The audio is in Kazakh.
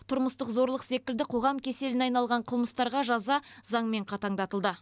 тұрмыстық зорлық секілді қоғам кеселіне айналған қылмыстарға жаза заңмен қатаңдатылды